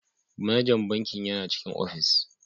Manajan bankin yana cikin ofis.